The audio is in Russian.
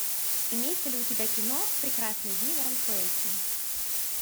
имеется ли у тебя кино прекрасные дни в аранхуэсе